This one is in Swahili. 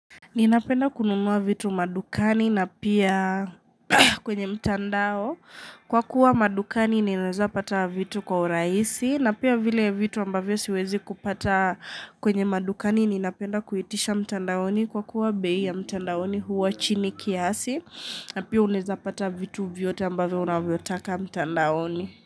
Ninapenda kununua vitu madukani na pia kwenye mtandao kwa kuwa madukani ninaeza pata vitu kwa urahisi na pia vile vitu ambavyo siwezi kupata kwenye madukani ninapenda kuitisha mtandaoni kwa kuwa bei ya mtandaoni huwa chini kiasi na pia unaweza pata vitu vyote ambavyo unavyo taka mtandaoni.